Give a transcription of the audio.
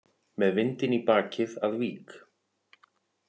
Með vindinn í bakið að Vík